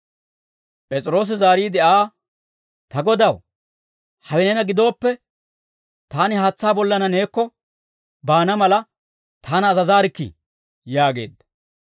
P'es'iroosi zaariide Aa, «Ta Godaw, hawe neena gidooppe, taani haatsaa bollanna neekko baana mala, taana azazaarikkii» yaageedda.